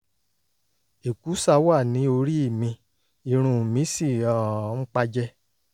èkúsà wà ní orí mi irun mi sì um ń pá jẹ um